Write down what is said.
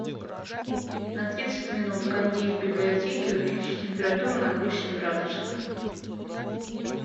на тридцать минут кондей в библиотеке увеличь температуру на восемь градусов